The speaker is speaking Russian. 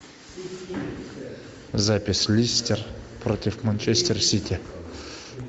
запись лестер против манчестер сити